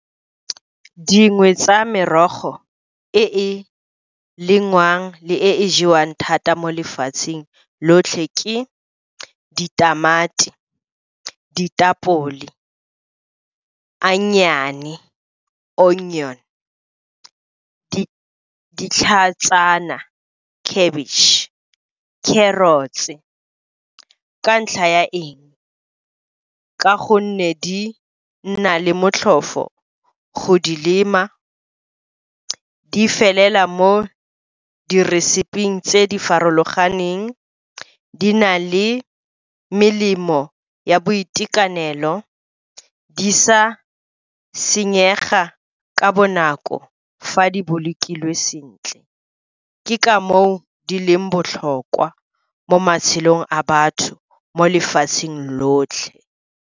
Dingwe tsa merogo e e lengwang le e jewang thata mo lefatsheng lotlhe ke ditamati, ditapole, onion, ditlhatsana, cabbage, carrots. Ka ntlha ya eng? Ka gonne di nna le motlhofo go di lema, di felela mo di reseping tse di farologaneng, di na le melemo ya boitekanelo, di sa senyega ka bonako fa di bolokilwe sentle. Ke ka moo di leng botlhokwa mo matshelong a batho mo lefatsheng lotlhe.